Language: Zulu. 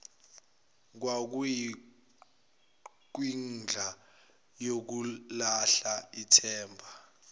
kwakuyikwindla yokulahla ithemba